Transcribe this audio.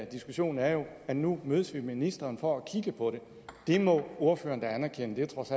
diskussion er jo at nu mødes vi med ministeren for at kigge på det det må ordføreren da anerkende trods